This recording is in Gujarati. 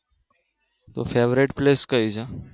Favorate Place કયું છે?